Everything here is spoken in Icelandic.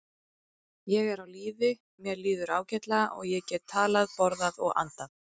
Ég er á lífi, mér líður ágætlega, og ég get talað, borðað og andað